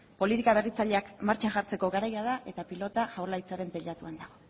politika berritzaileak martxan jartzeko garaia da eta pilota jaurlaritzaren teilatuan dago